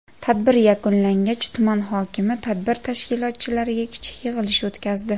Tadbir yakunlangach tuman hokimi tadbir tashkilotchilariga kichik yig‘ilish o‘tkazdi.